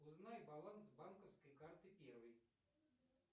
узнай баланс банковской карты первый